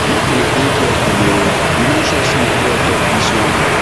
make una dey careful o we no sure sey na god tok dis one